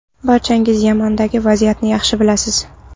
Barchangiz Yamandagi vaziyatni yaxshi bilasiz.